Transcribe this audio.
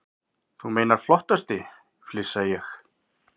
Þú meinar flottasti, flissa ég.